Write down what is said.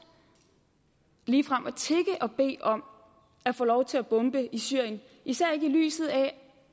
ligefrem at tigge og bede om at få lov til at bombe i syrien især ikke i lyset af